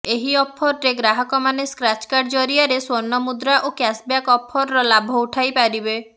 ଏହି ଅଫରରେ ଗ୍ରାହକମାନେ ସ୍କ୍ରାଚ କାର୍ଡ ଜରିଆରେ ସ୍ୱର୍ଣ୍ଣ ମୁଦ୍ରା ଓ କ୍ୟାସବ୍ୟାକ ଅଫରର ଲାଭ ଉଠାଇ ପାରିବେ